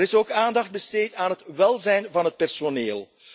Er is ook aandacht besteed aan het welzijn van het personeel.